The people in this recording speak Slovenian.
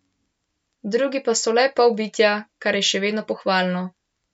Drugi pa so le polbitja, kar je še vedno pohvalno.